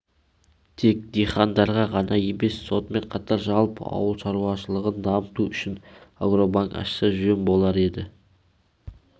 тек дихандарға ғана емес сонымен қатар жалпы ауыл шаруашылығын дамыту үшін агробанк ашса жөн болар еді